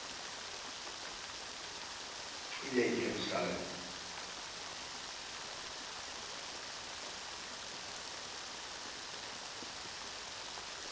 yejerusalem